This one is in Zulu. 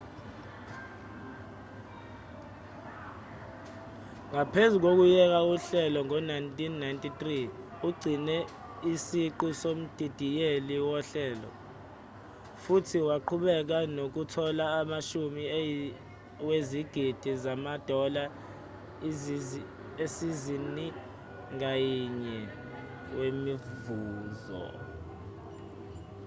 ngaphezu kokuyeka uhlelo ngo-1993 ugcine isiqu somdidiyeli wohlelo futhi waqhubeka nokuthola amashumi wezigidi zamadola isizini ngayinye wemivuzo